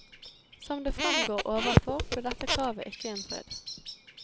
Som det fremgår overfor, ble dette kravet ikke innfridd.